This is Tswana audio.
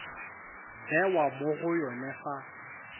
bewa mo go yone fa